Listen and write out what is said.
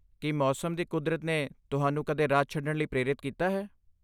ਕੀ ਮੌਸਮ ਦੀ ਕੁਦਰਤ ਨੇ ਤੁਹਾਨੂੰ ਕਦੇ ਰਾਜ ਛੱਡਣ ਲਈ ਪ੍ਰੇਰਿਤ ਕੀਤਾ ਹੈ?